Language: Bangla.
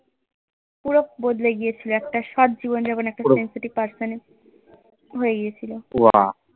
পুরো বদলে গিয়েছিলো একটা সৎ জীবনযাবন একটা sensitive person হয়ে গিয়েছিল